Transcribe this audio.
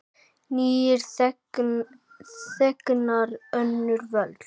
Nýir þegnar, önnur völd.